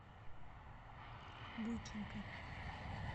бойченко